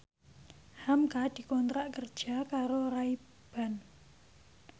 hamka dikontrak kerja karo Ray Ban